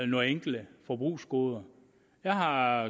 nogle enkelte forbrugsgoder jeg har